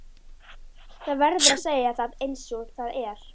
Það verður að segja það einsog það er.